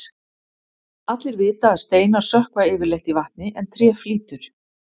allir vita að steinar sökkva yfirleitt í vatni en tré flýtur